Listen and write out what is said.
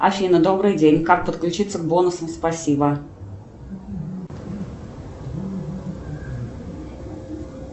афина добрый день как подключиться к бонусам спасибо